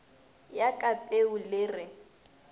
ya ka peu le re